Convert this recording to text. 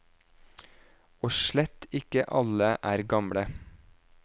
Og slett ikke alle er gamle.